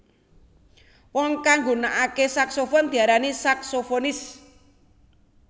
Wong kang nggunakakè saksofon diarani saksofonis